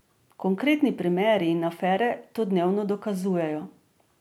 Konkretni primeri in afere to dnevno dokazujejo.